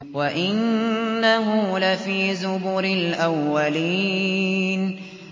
وَإِنَّهُ لَفِي زُبُرِ الْأَوَّلِينَ